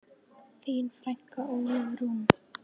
Þín frænka, Ólöf Rún.